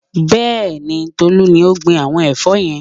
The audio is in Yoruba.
Bẹ́ẹ̀ni, Tolú ni ó gbin àwọn ẹ̀fọ́ yẹn